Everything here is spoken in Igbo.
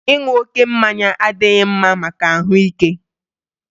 Ịṅụ oké mmanya adịghị mma maka ahụike